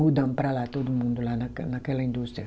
Mudamos para lá, todo mundo lá naquela naquela indústria.